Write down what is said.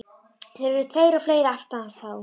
Þeir eru tveir og fleiri fyrir aftan þá.